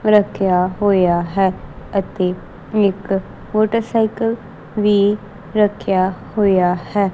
ਰੱਖਿਆ ਹੋਇਆ ਹੈ ਅਤੇ ਇਕ ਮੋਟਰਸਾਈਕਲ ਵੀ ਰੱਖਿਆ ਹੋਇਆ ਹੈ।